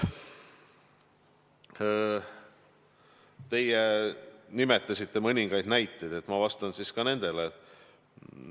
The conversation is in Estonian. Te tõite mõningaid näiteid, ma vastan siis ka nendele.